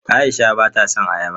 Aisha bata son ayaba.